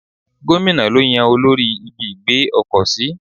Gómìnà lo yan olórí ibi ìgbé ọkọ̀ sí.